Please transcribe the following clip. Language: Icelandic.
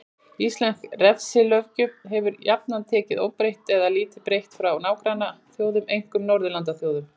Íslensk refsilöggjöf hefur jafnan verið tekin óbreytt eða lítið breytt frá nágrannaþjóðum, einkum Norðurlandaþjóðum.